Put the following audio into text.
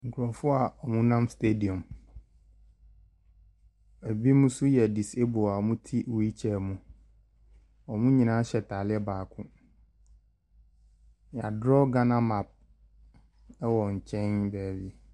Nkrɔfoɔ wo nam stadium ebi yɛ disable wɔ mu te wheel chair mu yɛ draw ghana map wɔ nkyɛn bea bi.